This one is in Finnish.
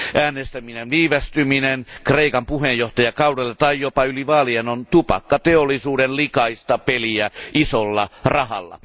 Äänestyksen viivästyminen Kreikan puheenjohtajakaudelle tai jopa yli vaalien on tupakkateollisuuden likaista peliä isolla rahalla.